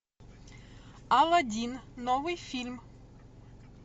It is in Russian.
аладдин новый фильм